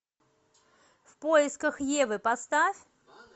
в поисках евы поставь